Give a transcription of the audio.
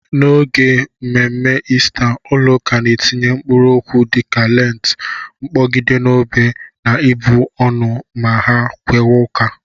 N'oge mme mme Ista ụlọ ụka na-etinye mkpụrụ okwu dịka lentị, mkpogide n'obé na ịbụ ọnụ ma ha kawa ụka.